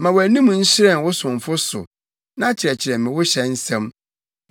Ma wʼanim nhyerɛn wo somfo so na kyerɛkyerɛ me wo hyɛ nsɛm.